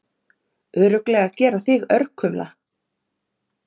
Örugglega gera þig örkumla.